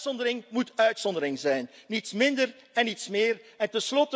De uitzondering moet uitzondering zijn, niets meer en niets minder.